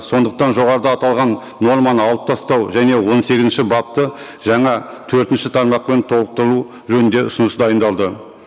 сондықтан жоғарыда аталған норманы алып тастау және он сегізінші бапты жаңа төртінші тармақпен толықтыру жөнінде ұсыныс дайындалды